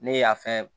Ne ye a fɛn